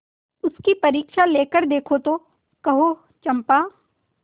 उसकी परीक्षा लेकर देखो तो कहो चंपा